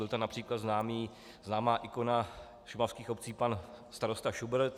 Byla tam například známá ikona šumavských obcí pan starosta Schubert.